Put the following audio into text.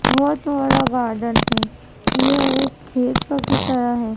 बहोत बड़ा गार्डन है यह एक खेतों की तरह है।